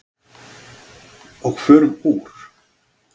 Og förum úr.